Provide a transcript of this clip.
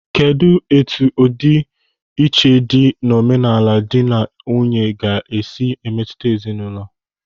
Kedụ etu ọdi iche dị n'omenala dị na nwunye ga-esi emetụta ezinaụlọ?